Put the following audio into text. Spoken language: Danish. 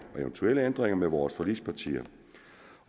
eventuelle ændringer med vores forligspartier